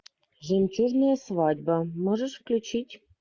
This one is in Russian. жемчужная свадьба можешь включить